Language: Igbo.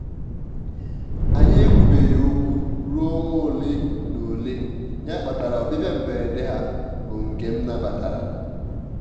anyị e kwubeghi okwu ruo ọnwa ole na ole ya kpatara ọbịbịa mberede ha bụ nke m nabatara